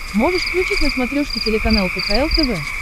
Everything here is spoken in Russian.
можешь включить на смотрешке телеканал кхл тв